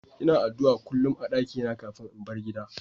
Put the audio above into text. lna addu'a kullum a'dakina kafin in bar gidan.